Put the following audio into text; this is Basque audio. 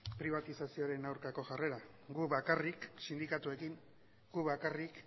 pribatizazioren aurkako jarrera gu bakarrik sindikatuekin gu bakarrik